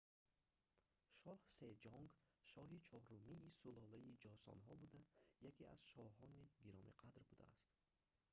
шоҳ сеҷонг шоҳи чорумии сулолаи ҷосонҳо буда яке аз шоҳони гиромиқадр будааст